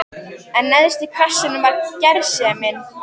En neðst í kassanum var gersemin.